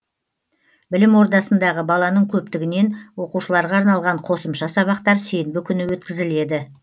білім ордасындағы баланың көптігінен оқушыларға арналған қосымша сабақтар сенбі күні өткізіледі